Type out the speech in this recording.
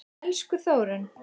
Elsku Þórunn.